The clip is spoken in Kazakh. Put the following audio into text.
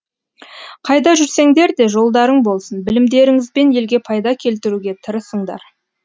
қайда жүрсеңдер де жолдарың болсын білімдеріңізбен елге пайда келтіруге тырысыңдар